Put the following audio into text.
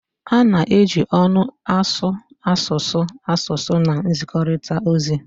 A na-eji ọnụ asụ asụsụ asụsụ na nzikọrịta ozi